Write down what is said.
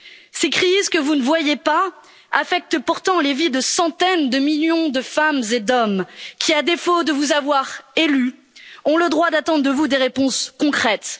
Ces crises que vous ne voyez pas affectent pourtant les vies de centaines de millions de femmes et d'hommes qui, à défaut de vous avoir élue, ont le droit d'attendre de vous des réponses concrètes.